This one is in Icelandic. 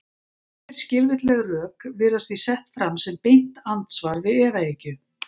Yfirskilvitleg rök virðast því sett fram sem beint andsvar við efahyggju.